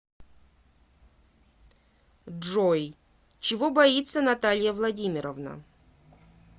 джой чего боится наталья владимировна